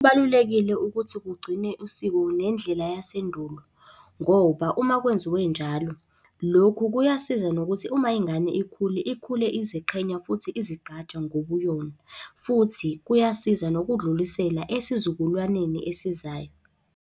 Kubalulekile ukuthi kugcine usiko nendlela yasendulo ngoba uma kwenziwe njalo, lokhu kuyasiza nokuthi uma ingane ikhule ikhule iziqhenya futhi izigqaja ngobuyona, futhi kuyasiza nokudlulisela esizukulwaneni esizayo.